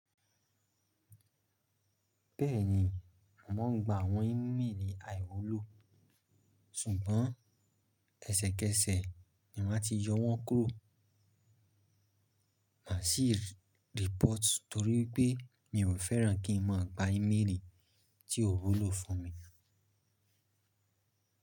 Bẹ́ẹ̀ni, mo ń gba àwọn ímélì àìwúlò, ṣùgbọ́n ẹsẹ̀kẹsẹ̀ ni máa ti yọ wọ́n kúrò. Mà ṣì report torí pé mi ò fẹ́ràn kí n má gba ímélì tí ò wúlò fún mi.